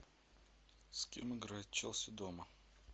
с кем играет челси дома